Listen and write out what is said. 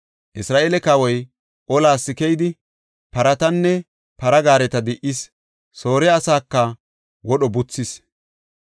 Isra7eele kawoy olas keyidi, paratanne para gaareta di77is; Soore asaaka wodho buthis.